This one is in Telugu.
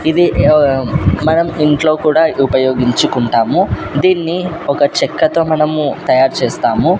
ఇది ఆఆ మనం ఇంట్లో కూడా ఉపయోగించుకుంటాము దీన్ని ఒక చెక్కతో మనము తయారు చేస్తాము.